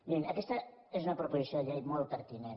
mirin aquesta és una proposició de llei molt perti·nent